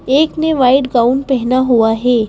एक ने white gown पहना हुआ है।